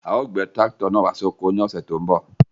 À o gbè tirakítò náà wà sí oko ní ọṣẹ́ tó n bọ̀.